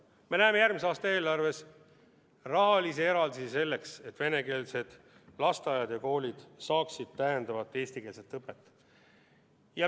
Me näeme järgmise aasta eelarves rahalisi eraldisi selleks, et venekeelsed lasteaiad ja koolid saaksid täiendavat eestikeelset õpet.